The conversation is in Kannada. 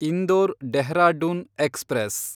ಇಂದೋರ್ ಡೆಹ್ರಾಡುನ್ ಎಕ್ಸ್‌ಪ್ರೆಸ್